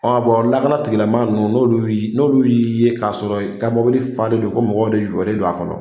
lakana tigilamaa ninnu n'olu y'i n'olu y'i ye k'a sɔrɔ i ka mɔbili falen do ko mɔgɔw de jɔlen do a kɔnɔ.